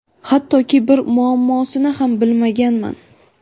hattoki bir muammosini ham bilmaganman.